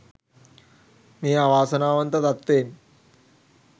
මේ අවාසනාවන්ත තත්ත්වයෙන්